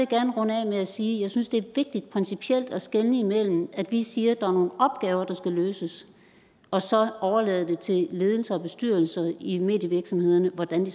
gerne runde af med at sige at jeg synes det er vigtigt principielt at skelne imellem det at vi siger at der opgaver der skal løses og så overlader det til ledelser og bestyrelser i medievirksomhederne hvordan de